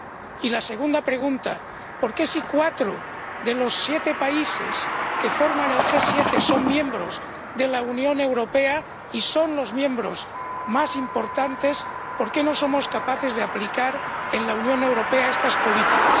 Y la segunda pregunta ¿por qué si cuatro de los siete países que forman el G 7 son miembros de la Unión Europea, y son los miembros más importantes, no somos capaces de aplicar en la Unión Europea estas políticas?